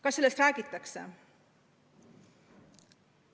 Kas sellest räägitakse?